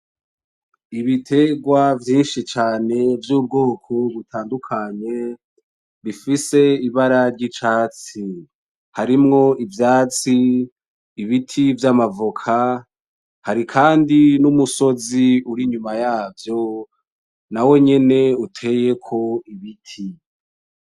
Ibiterwa vyinshi cane vy'ubwoko butandukanye bifise ibara ry'icatsi, harimwo ivyatsi, ibiti vy'amavoka, hari kandi n'umusozi uri inyuma yavyo, nawe nyene uteyeko ibiti.